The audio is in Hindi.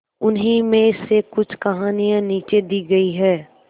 उन्हीं में से कुछ कहानियां नीचे दी गई है